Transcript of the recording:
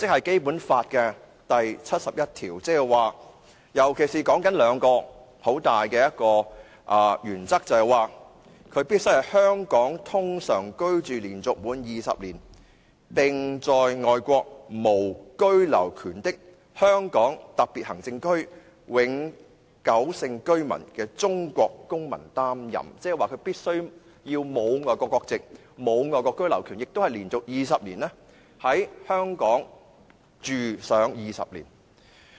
《基本法》第七十一條訂明立法會主席須符合兩項十分重要的規定，便是必須"在香港通常居住連續滿二十年並在外國無居留權的香港特別行政區永久性居民中的中國公民擔任"，即是必須沒有外國國籍，沒有外國居留權，並且連續在香港居住20年。